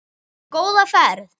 Góða ferð,